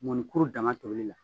Mɔnikuru dama doli la